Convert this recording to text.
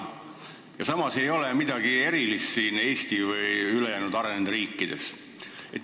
Samas ei ole siin midagi erilist ei Eestis ega ülejäänud arenenud riikides.